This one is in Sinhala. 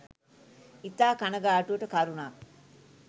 ඉතා කනගාටුවට කරුණක්.